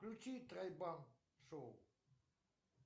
включи тройбан шоу